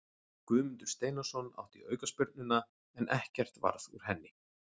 Guðmundur Steinarsson átti aukaspyrnuna en ekkert varð úr henni.